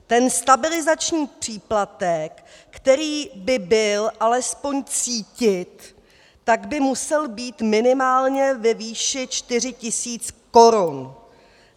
Ten stabilizační příplatek, který by byl alespoň cítit, tak by musel být minimálně ve výši 4 tisíc korun.